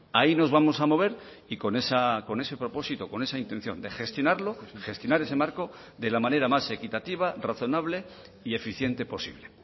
ahí nos vamos a mover y con ese propósito con esa intención de gestionarlo gestionar ese marco de la manera más equitativa razonable y eficiente posible